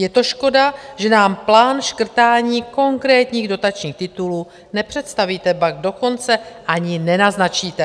Je to škoda, že nám plán škrtání konkrétních dotačních titulů nepředstavíte, ba dokonce ani nenaznačíte.